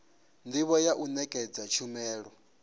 ndivho ya u nekedza tshumelo